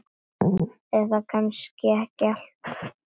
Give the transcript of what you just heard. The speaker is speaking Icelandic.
Eða kannski ekki allt.